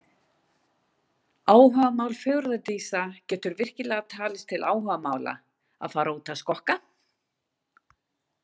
Áhugamál fegurðardísa Getur virkilega talist til áhugamála að fara út að skokka?